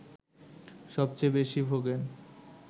সবচেয়ে বেশি ভোগেন